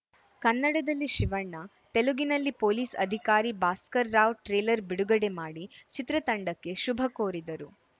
ಕನ್ನಡದಲ್ಲಿ ಶಿವಣ್ಣ ತೆಲುಗಿನಲ್ಲಿ ಪೊಲೀಸ್‌ ಅಧಿಕಾರಿ ಭಾಸ್ಕರ್‌ ರಾವ್‌ ಟ್ರೇಲರ್‌ ಬಿಡುಗಡೆ ಮಾಡಿ ಚಿತ್ರತಂಡಕ್ಕೆ ಶುಭ ಕೋರಿದರು